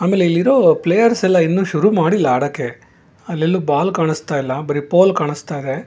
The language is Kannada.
ಇಲ್ಲಿ ಇರೋ ಪ್ಲೇಯರ್ಸ್ ಎಲ್ಲಾ ಇನ್ನು ಶುರು ಮಾಡಿಲ್ಲ ಆಡಕೆ ಅಲ್ ಎಲ್ಲೂ ಬಾಲ್ ಕಾಣಸ್ತಾ ಇಲ್ಲ ಬರಿ ಪೋಲ್ ಕಾಣಸ್ತಾ ಇದೆ.